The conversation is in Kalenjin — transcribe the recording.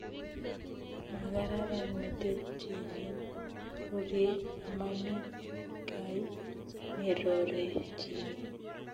Magararan metit chichin rorye amami guy nerorechini